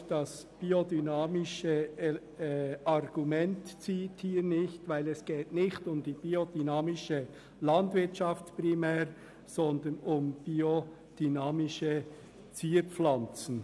Auch das biodynamische Argument zieht hier nicht, denn es geht primär nicht um die biodynamische Landwirtschaft, sondern um biodynamische Zierpflanzen.